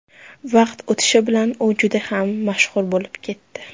Vaqt o‘tishi bilan u juda ham mashhur bo‘lib ketdi.